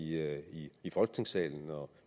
her i i folketingssalen og